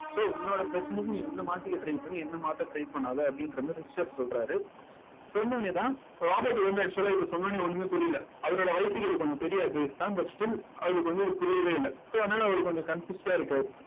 so உன்னோட பிரச்சனைக்கு நீ உன்னை மாத்திக்க try பண்ணி என்னை மாத்த try பண்ணாத அப்படின்ற மாதிரி rich dad சொல்றாரு சொன்ன உடனேதான் ராபர்ட்க்கு வந்து actual ஆ இதை சொன்ன உடனே ஒண்ணுமே புரியல அவரோட வயசுக்கு இது கொஞ்சம் பெரிய advice தான் but still அவருக்கு வந்து இது புரியவே இல்லை so அதனால அவரு கொஞ்சம் confused ஆ இருக்காரு